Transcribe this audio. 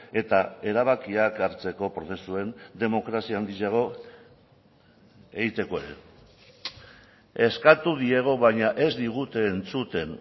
eta erabakiak hartzeko prozesuen demokrazia handiago egiteko ere eskatu diegu baina ez digute entzuten